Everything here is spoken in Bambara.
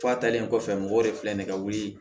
Fa talen kɔfɛ mɔgɔw de filɛ nin ye ka wuli